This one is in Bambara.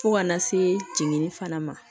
Fo kana se jiginni fana ma